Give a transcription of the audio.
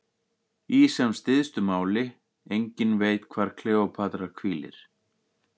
Í sem stystu máli: enginn veit hvar Kleópatra hvílir.